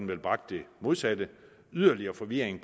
vel bragt det modsatte yderligere forvirring